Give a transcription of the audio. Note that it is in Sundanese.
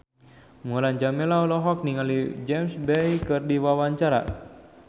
Mulan Jameela olohok ningali James Bay keur diwawancara